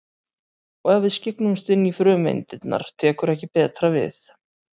Og ef við skyggnumst inn í frumeindirnar tekur ekki betra við.